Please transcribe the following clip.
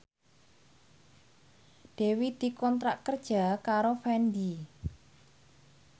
Dewi dikontrak kerja karo Fendi